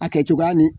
A kɛcogoya ni